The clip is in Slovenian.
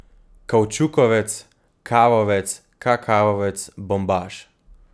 Kavčukovec, kavovec, kakavovec, bombaž.